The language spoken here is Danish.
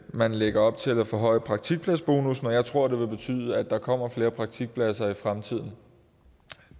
man lægger op til at ville forhøje praktikpladsbonussen og jeg tror at det vil betyde at der kommer flere praktikpladser i fremtiden